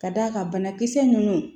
Ka d'a kan banakisɛ ninnu